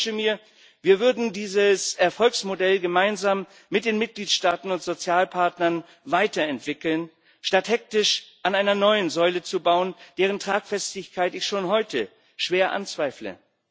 Und ich wünschte mir, wir würden dieses Erfolgsmodell gemeinsam mit den Mitgliedstaaten und Sozialpartnern weiterentwickeln, statt hektisch an einer neuen Säule zu bauen, deren Tragfestigkeit ich schon heute schwer anzweifle.